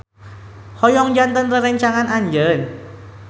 Hoyong janten rerencangan anjeun.